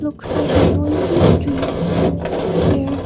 looks like a noisy street where